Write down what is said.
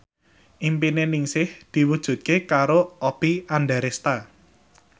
impine Ningsih diwujudke karo Oppie Andaresta